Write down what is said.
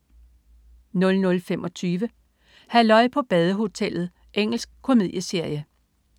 00.25 Halløj på badehotellet. Engelsk komedieserie